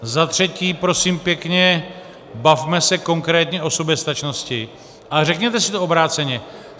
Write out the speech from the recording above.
Za třetí, prosím pěkně, bavme se konkrétně o soběstačnosti, ale řekněte si to obráceně.